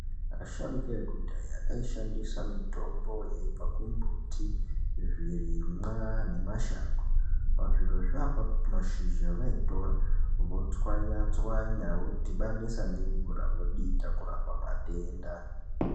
Asharuka ekudhaya ayi shandisa mitombo yaibva ku mbuti zvirimwa ne mashango pa zvirozvo apapo mashizha vaitora vo tswanya tswanya vo dhibanisa nge mvura vodita kurapa matenda.